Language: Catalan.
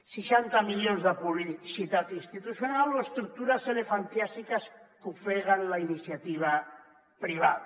seixanta milions de publicitat institucional o estructures elefantiàsiques que ofeguen la iniciativa privada